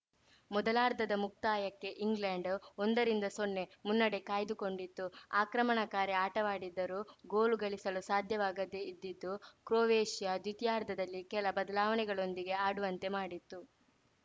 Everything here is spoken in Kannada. ಮೊದಲಾರ್ಧದ ಮುಕ್ತಾಯಕ್ಕೆ ಇಂಗ್ಲೆಂಡ್‌ ಒಂದರಿಂದಸೊನ್ನೆ ಮುನ್ನಡೆ ಕಾಯ್ದುಕೊಂಡಿತು ಆಕ್ರಮಣಕಾರಿ ಆಟವಾಡಿದರೂ ಗೋಲು ಗಳಿಸಲು ಸಾಧ್ಯವಾಗದೆ ಇದ್ದಿದ್ದು ಕ್ರೊವೇಷಿಯಾ ದ್ವಿತೀಯಾರ್ಧದಲ್ಲಿ ಕೆಲ ಬದಲಾವಣೆಗಳೊಂದಿಗೆ ಆಡುವಂತೆ ಮಾಡಿತು